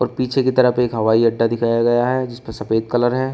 पीछे की तरफ एक हवाई अड्डा दिखाया गया है जिसपे सफेद कलर है।